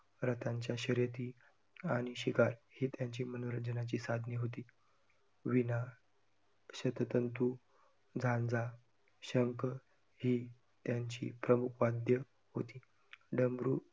रथांच्या शर्यती आणि शिकार ही त्यांची मनोरंजनाची साधने होती. वीणा, शततंतू, झांजा, शंख ही त्यांची प्रमुख वाद्ये होती. डमरू आणि